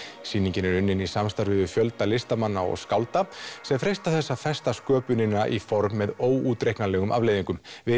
sýningin er unnin í samstarfi við fjölda listamanna og skálda sem freista þess að festa sköpunina í form með óútreiknanlegum afleiðingum við